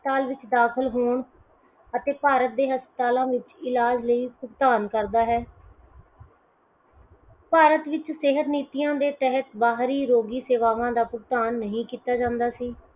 ਹਸਪਤਾਲ ਵਿੱਚ ਦਾਖ਼ਲ ਹੋਣ ਅਤੇ ਭਾਰਤ ਦੇ ਹਸਪਤਾਲਾਂ ਵਿਚ ਇਲਾਜ਼ ਲਈ ਕੰਮ ਕਰਦਾ ਹੈ। ਭਾਰਤ ਵਿਚ ਸਿਹਤ ਨਿਜੀਆਂ ਦੇ ਤਹਿਤ ਬਾਹਰੀ ਰੋਗੀ ਸੇਵਾਵਾਂ ਦਾ ਭੁਗਤਾਨ ਨਹੀਂ ਕੀਤਾ ਜਾਂਦਾ ਸੀ।